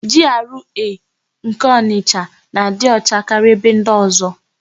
Jiarụee nke Onịsha na-adị ọcha karịa ebe ndị ọ̀zọ́.